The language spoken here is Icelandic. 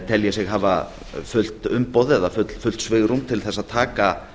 telji sig hafa fullt umboð eða fullt svigrúm til þess að taka